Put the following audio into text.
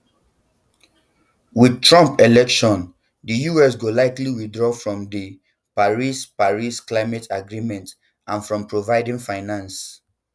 with trump election di us go likely withdraw from di paris paris climate agreement and from providing finance